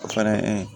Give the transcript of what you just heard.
O fɛnɛ ye